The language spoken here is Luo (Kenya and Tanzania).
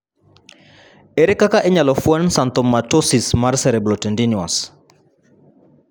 Ere kaka inyalo fweny xanthomatosis mar cerebrotendinous?